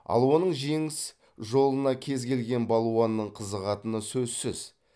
ал оның жеңіс жолына кез келген балуанның қызығатыны сөзсіз